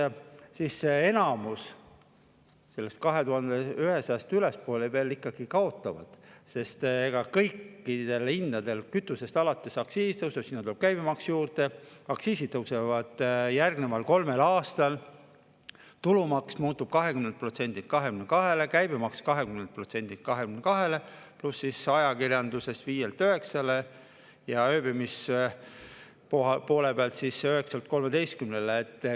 Enamik neist, kes saavad sellest 2100 ülespoole, veel ikkagi kaotavad, sest kõik hinnad tõusevad, kütusest alates, aktsiis tõuseb, sinna tuleb käibemaks juurde, aktsiisid tõusevad järgneval kolmel aastal, tulumaks kasvab 20%-lt 22%-le, käibemaks 20%-lt 22%-le, pluss ajakirjanduses 5%-lt 9%-le ja ööbimise poole peal 9%-lt 13%-le.